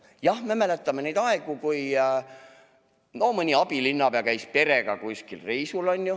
Jah, me mäletame neid aegu, kui mõni abilinnapea käis perega kuskil reisil.